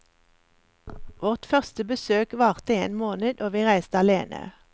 Vårt første besøk varte en måned, og vi reiste alene.